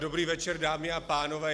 Dobrý večer, dámy a pánové.